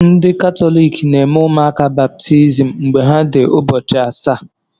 Ndị Katọlik na-eme ụmụaka baptizim n'ebe ahụ mgbe ha dị ụbọchị asaa.